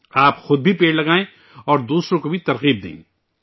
آپ، خود بھی درخت لگائیں اور دوسروں کی بھی حوصلہ افزائی کریں